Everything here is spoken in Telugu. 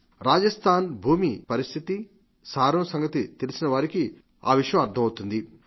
రాజస్థఆన్ భూమి పరిస్థితి సారం సంగతి తెలిసినవారికి అర్ధమవుతుంది